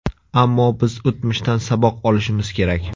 Ammo biz o‘tmishdan saboq olishimiz kerak.